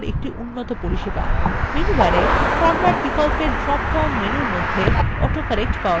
menu bar format বিকল্পের drop down menu মধ্যে autocorrect পাওয়া যায়